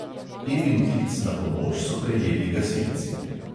Evin klic na pomoč so prejeli gasilci.